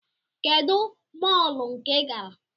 Kedụ mọọlụ nke ịgara?